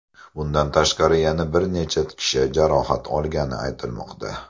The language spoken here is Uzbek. Bundan tashqari yana bir necha kishi jarohat olgani aytilmoqda.